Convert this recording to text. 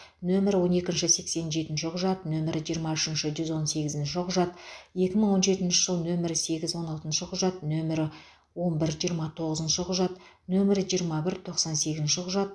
нөмірі он екінші сексен жетінші құжат нөмірі жиырма үшінші жүз он сегізінші құжат екі мың он жетінші жыл нөмірі сегіз он алтыншы құжат нөмірі он бір жиырма тоғызыншы құжат нөмірі жиырма бір тоқсан сегізінші құжат